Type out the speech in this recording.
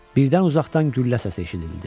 Birdən uzaqdan güllə səsi eşidildi.